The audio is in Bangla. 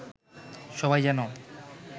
সবাই যেন